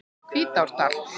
Hvítárdal